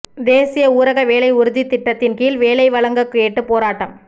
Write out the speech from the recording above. தேசிய ஊரக வேலை உறுதித் திட்டத்தின் கீழ் வேலை வழங்கக் கேட்டு போராட்டம்